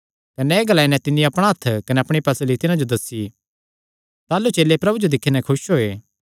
कने एह़ ग्लाई नैं तिन्नी अपणा हत्थ कने अपणी पसली तिन्हां जो दस्सी ताह़लू चेले प्रभु जो दिक्खी नैं खुस होये